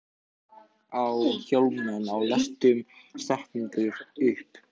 Aagot, stilltu niðurteljara á fimmtíu og níu mínútur.